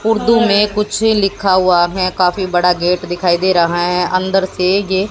उर्दू में कुछ लिखा हुआ है काफी बड़ा गेट दिखाई दे रहा है अंदर से ये--